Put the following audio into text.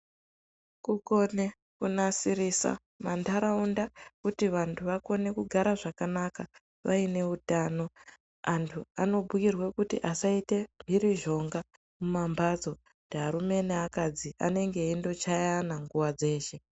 Kukone kunasirise mandaraunda kuti antu vakone kugara zvakanaka vaine utano, anthu anobhuirwa kuti vasaite mhirizhonga mumamhatso kuti arume neakadzi vanenge veingochayana nguva dzeshe.